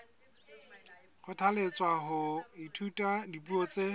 kgothalletswa ho ithuta dipuo tse